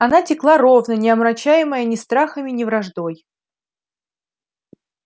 она текла ровно не омрачаемая ни страхами ни враждой